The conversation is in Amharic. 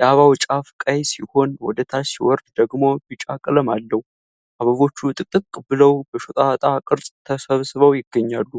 የአበባው ጫፍ ቀይ ሲሆን ወደ ታች ሲወርድ ደግሞ ቢጫ ቀለም አለው፤ አበቦቹ ጥቅጥቅ ብለው በሾጣጣ ቅርጽ ተሰባስበው ይገኛሉ።